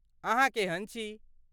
अहाँ केहन छी?